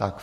Tak.